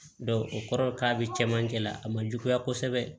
o kɔrɔ k'a bɛ cɛmancɛ la a ma juguya kosɛbɛ